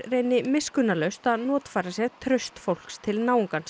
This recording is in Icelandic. reyni miskunnarlaust að notfæra sér traust fólks til